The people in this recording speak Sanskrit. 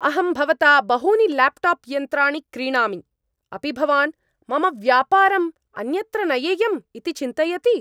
अहं भवता बहूनि ल्याप्टाप् यन्त्राणि क्रीणामि। अपि भवान् मम व्यापारं अन्यत्र नयेयम् इति चिन्तयति?